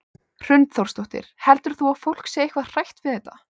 Hrund Þórsdóttir: Heldur þú að fólk sé eitthvað hrætt við þetta?